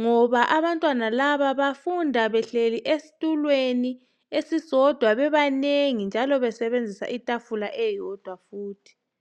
ngoba abantwana laba bafunda behleli esitulweni esisodwa bebanengi njalo besebenzisa itafula eyodwa futhi.